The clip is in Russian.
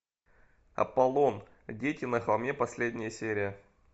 аполлон дети на холме последняя серия